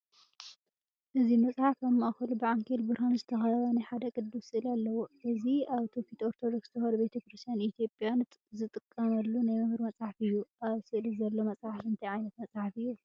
እዚ መጽሓፍ ኣብ ማእከሉ ብዓንኬል ብርሃን ዝተኸበበ ናይ ሓደ ቅዱስ ስእሊ ኣለዎ። እዚ ኣብ ትውፊት ኦርቶዶክስ ተዋህዶ ቤተ ክርስቲያን ኢትዮጵያ ዝጥቀመሉ ናይ መምህር መጽሓፍ እዩ። ኣብ ስእሊ ዘሎ መጽሓፍ እንታይ ዓይነት መፅሓፍ እዩ?